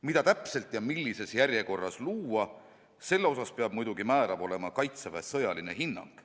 Mida täpselt ja millises järjekorras luua, selle osas peab muidugi määrav olema Kaitseväe sõjaline hinnang.